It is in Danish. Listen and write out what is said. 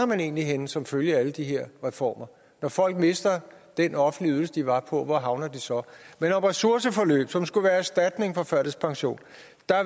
man egentlig havner som følge af alle de her reformer når folk mister den offentlige ydelse de var på hvor havner vi så men om ressourceforløb som skulle være erstatning for førtidspension